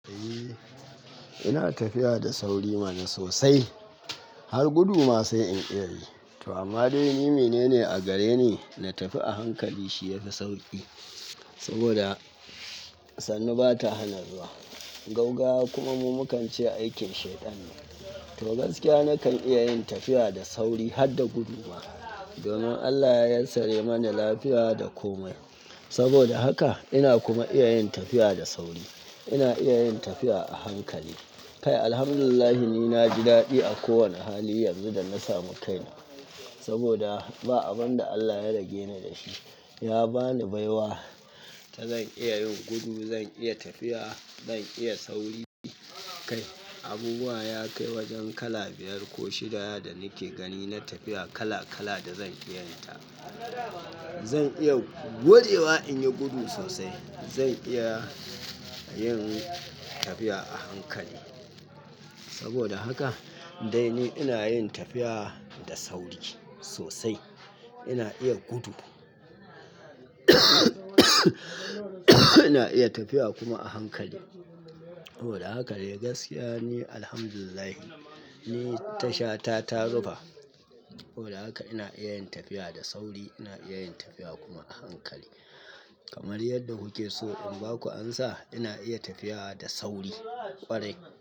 Eh ina tafiya da sauri mana sosai har gudu ma sai in iya yi. To amma dai ni menene a gare ni na tafi a hankali shi yafi sauki. Saboda sannu bata hana zuwa, gaugaya kuma mu mukance aikin shaiɗan ne. To gaskiya nakan iya yin tafiya da sauri har da gudu ma. Domin Allah ya yassare mani lafiya da komai. Saboda haka ina kuma iya yin tafiya da sauri. Ina iya yin tafiya a hankali. Kai, Alhamdulillahi ni naji daɗi a ko wane hali yanzu da na samu kaina. Saboda ba abun da Allah ya rage ni da shi. Ya bani baiwa, ta zan iya yin gudu, zan iya tafiya, zan iya sauri. Kai, abubuwa ya kai wajen kala biyar ko shidaya da nike gani na tafiya kala kala da zan iya yin ta. Zan iya gode wa in yi gudu sosai. Zan iya yin tafiya a hankali. Saboda haka dai ni ina yin tafiya da sauri sosai. Ina iya gudu ina iya tafiya kuma a hankali. Saboda haka dai gaskiya ni Alhamdulillahi ni tashata ta rufa. Don haka ina iya yin tafiya da sauri ina iya tafiya kuma a hankali. Kamar yadda kuke so in baku amsa ina iya tafiya da sauri kwarai.